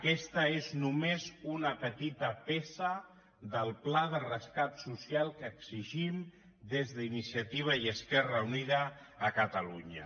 aquesta és només una petita peça del pla de rescat so·cial que exigim des d’iniciativa i esquerra unida a catalunya